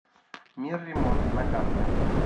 мир ремонта на карте